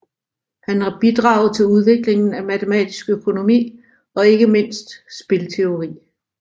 Han har bidraget til udviklingen af matematisk økonomi og ikke mindst spilteori